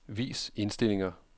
Vis indstillinger.